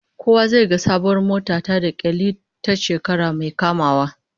Kowa zai ga sabuwar mota ta da kyallin ta shekara mai kamawa